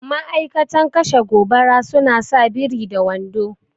Ma'aikatan kashe gobara suna sa biri da wando